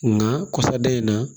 Nka kɔsadan in na